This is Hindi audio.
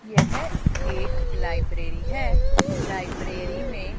यह एक लाइब्रेरी है लाइब्रेरी में--